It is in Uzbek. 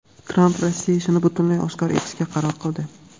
Tramp "Rossiya ishi"ni butunlay oshkor etishga qaror qildi.